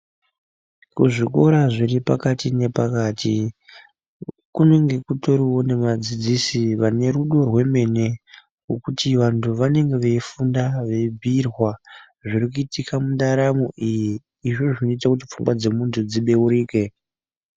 Kuzvikoro zviri pakati nepakati kunenge kutoriwo nevadzidzisi vane rudo rwemene. Ngokuti vantu vanenge veifunda veibhiirwa zviri kuitika mundaramo iyi. Ndizvo zvinoita kuti pfungwa dzemuntu dzibeurike.